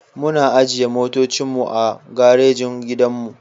Muna ajiye motocin mu a garejin gidanmu.